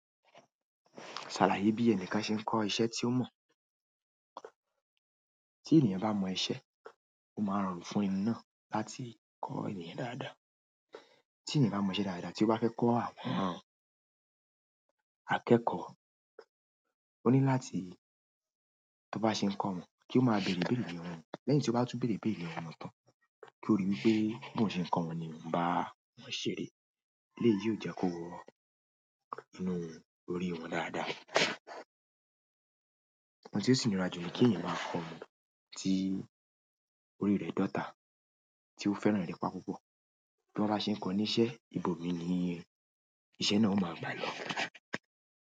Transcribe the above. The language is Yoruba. Ṣàlàyé bí ẹni kan ṣe ń kọ́ iṣẹ́ tí ó mọ̀. Tí ènìyàn bá mọ iṣẹ́, ó máa rọrùn fún ẹni náà láti kọ́ ènìyàn dáadáa. Tí ènìyàn bá mọ iṣẹ́ dáadáa tí ó bá fẹ́ kọ́ àwọn akẹ́kọ̀ọ́, ó ní láti tó bá ṣe ń kọ́ wọn kí ó máa bèrè ibère ni ọwọ wọn. Lẹ́yìn tí ó bá tún bèrè ibère lọwọ wọn tán, kí ó rí i pé bí wọ́n ṣe ń kọ́ wọn ni oun bá wọn ṣère. Léyìí yóò jẹ́ kó wọ inú wọn, orí wọn dáadáa. Òhun tí ó sì ńi ra ju ni kí ènìyàn máa kọ ọmọ tí orí rẹ̀ dòtá, tí ó fẹ́ràn erẹ̀pa púpọ̀. Bí wọ́n bá ṣe ń kọ ní iṣẹ́, ibòmíni ni iṣẹ́ náà ó máa gbà lọ.